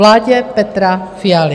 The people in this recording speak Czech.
Vládě Petra Fialy.